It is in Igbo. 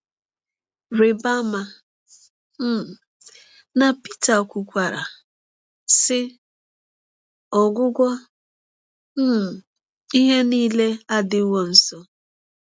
Rịba ama um na Pita kwukwara, sị: “Ọgwụgwụ um ihe niile adịwo nso.”